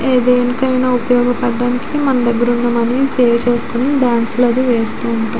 ఏ దేనికైనా ఉపయోగపడడానికి మన దగ్గర ఉన్న మనీ సేవ్ చేసుకొని బాంక్స్ లోకి వేస్తుంటాము.